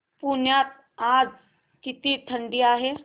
पुण्यात आज किती थंडी आहे